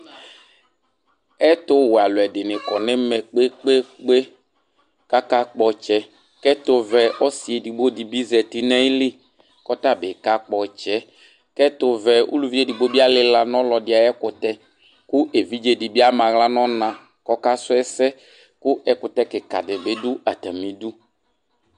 Ɛtu wɛ aluɛdini kɔ nu ɛmɛ kpekpekpe kpe kakakpɔ ɔtsɛ ku ɛtuvɛ ɔsi edigbo di bi zati nu ayili kɔta bi kakpɔ ɔtsɛ kɛtu vɛ ɔlu edigbo di alila nu ɔlɔdi ayu ɛkutɛ ku evidzedibi ama aɣla nu ɔna ku ɔkasu ɛsɛ ɛkutɛ kika dibi du atamidu